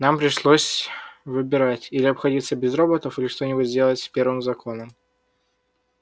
нам пришлось выбирать или обходиться без роботов или что-нибудь сделать с первым законом